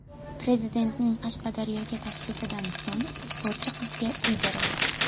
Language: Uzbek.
Prezidentning Qashqadaryoga tashrifidan so‘ng sportchi qizga uy berildi.